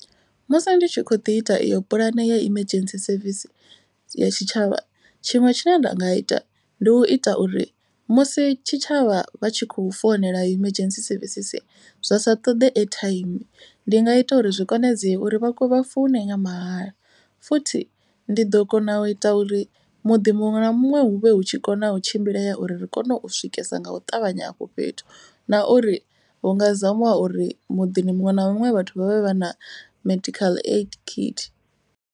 Musi ndi tshi kho ḓi ita iyo pulane ya emergency service ya tshitshavha. Tshiṅwe tshine nda nga ita ndi u ita uri musi tshitshavha vha tshi kho founela emergency services zwa sa ṱoḓe airtime. Ndi nga ita uri zwi konadzee uri vha vha foune nga mahala. Futhi ndi ḓo kona u ita uri muḓi muṅwe na muṅwe hu vhe hu tshi kona u tshimbilea uri ri kone u swikesa nga u ṱavhanya afho fhethu. Na uri hu nga zamiwa uri muḓini muṅwe na muṅwe vhathu vhavhe vha na medical aid kit.